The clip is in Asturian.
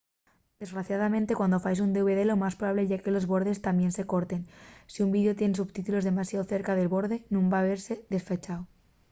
desgraciadamente cuando faes un dvd lo más probable ye que los bordes tamién se corten y si’l videu tien sotítulos demasiao cerca del borde nun van vese dafechu